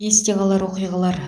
есте қалар оқиғалар